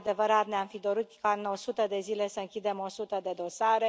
E adevărat, ne am fi dorit ca în 100 de zile să închidem 100 de dosare.